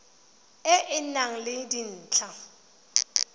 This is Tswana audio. e e nang le dintlha